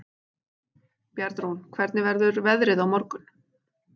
Bjarnrún, hvernig verður veðrið á morgun?